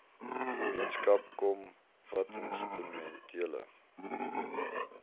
gemeenskap kom watinstrumentele